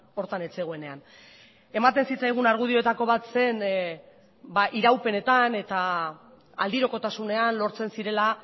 horretan ez zegoenean ematen zitzaigun argudioetako bat zen iraupenetan eta aldirokotasunean lortzen zirela